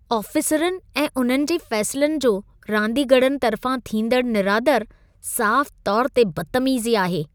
आफ़ीसरनि ऐं उन्हनि जे फ़ैसलनि जो रांदीगरनि तर्फ़ां थींदड़ु निरादरु साफ़ु तौर ते बदतमीज़ी आहे।